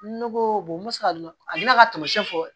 Ne ko n bɛ se ka a bɛna ka tamasiyɛn fɔ